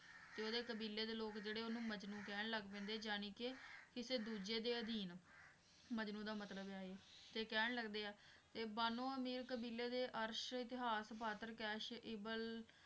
ਤੇ ਉਹਦੇ ਕਬੀਲੇ ਦੇ ਲੋਕ ਜਿਹੜੇ ਉਹਨੂੰ ਕਹਿਣ ਲੱਗ ਪੈਂਦੇ ਆ ਜਾਣੀ ਕੇ ਕਿਸੇ ਦੂਜੇ ਦੇ ਅਧੀਨ ਮਜਨੂੰ ਦਾ ਮਤਲਬ ਹੈ ਏ ਤੇ ਕਹਿਣ ਲੱਗਦੇ ਆ ਤੇ ਬਾਨੋਆਂ ਅਮੀਰ ਕਬੀਲੇ ਦੇ ਅਰਸ਼ ਇਤਿਹਾਸ ਫ਼ਾਤਰ ਕੈਸ ਇਬਨ